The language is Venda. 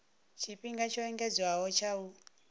tshifhinga tsho engedzedzwaho tsha u